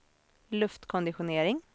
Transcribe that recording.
luftkonditionering